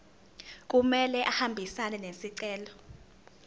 kumele ahambisane nesicelo